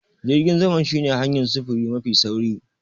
Jirgin sama shine hanyar sufuri mafi sauri.